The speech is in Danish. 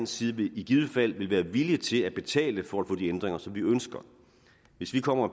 side i givet fald vil være villige til at betale for at få de ændringer som vi ønsker hvis vi kommer og